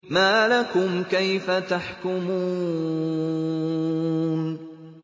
مَا لَكُمْ كَيْفَ تَحْكُمُونَ